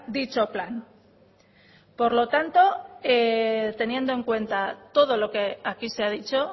dicho plan por lo tanto teniendo en cuenta todo lo que aquí se ha dicho